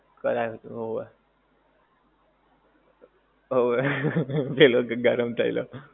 કરાવે તો હોવે હોવે પેલો કેહ કે ગરમ થયેલો